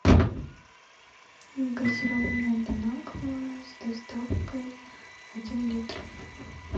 газированная бон аква с доставкой один литр